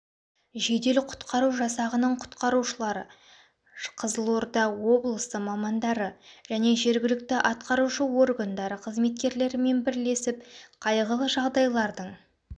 жедел құтқару жасағының құтқарушылары қызылорда облысы мамандары және жергілікті атқарушы органдары қызметкерлерімен бірлесіп қайғылы жағдайлардың